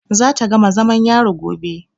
Za ta gama zamam yari gobe.